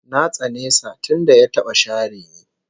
Na tsane sa tunda ya taba share ni